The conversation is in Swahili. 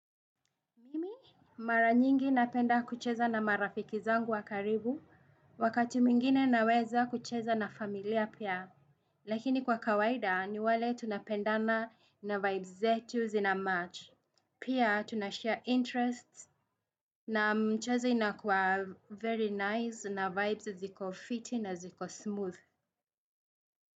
Mimi mara nyingi napenda kucheza na marafiki zangu wa karibu, wakati mwingine naweza kucheza na familia pia. Lakini kwa kawaida ni wale tunapendana na vibes zetu zinamatch, pia tunashare interests na mchezo unakuwa very nice na vibes ziko fiti na ziko smooth.